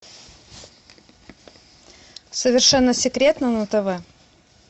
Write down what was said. совершенно секретно на тв